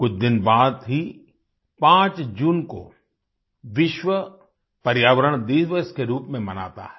कुछ दिन बाद ही 5 जून को विश्व पर्यावरण दिवस के रूप में मनाता है